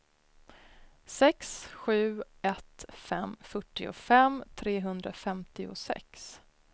sex sju ett fem fyrtiofem trehundrafemtiosex